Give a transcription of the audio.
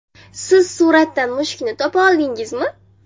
Siz suratdan mushukni topa oldingizmi?